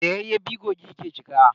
Da yayyafi kogi ke cika.